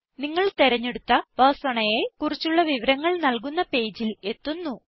നിങ്ങൾ തിരഞ്ഞെടുത്ത Personaയെ കുറിച്ചുള്ള വിവരങ്ങൾ നല്കുന്ന പേജിൽ എത്തുന്നു